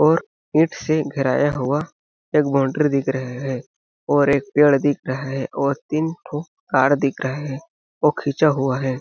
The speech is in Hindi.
और ईंट से घेराया हुआ एक बाउंड्री दिख रहे है और एक पेड़ दिख रहे है और तीन ठो कार दिख रहे है वो खिंचा हुआ है .